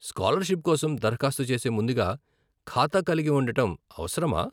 Scholarship కోసం దరఖాస్తు చేసే ముందుగా ఖాతా కలిగి ఉండటం అవసరమా ?